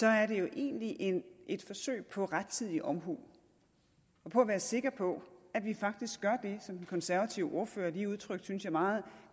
er det jo egentlig et forsøg på rettidig omhu og på at være sikker på at vi faktisk gør det som den konservative ordfører lige udtrykte meget